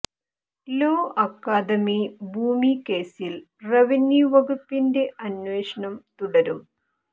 law Academy ഭൂമി കേസിൽ revenue വകുപ്പിന്റെ അന്വേഷണം തുടരും